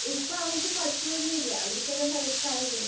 ഇപ്പവര്ക്ക് പശുവൊന്നും ഇല്ല. അവര്ക്കെല്ലാം വയസ്സായില്ലേ?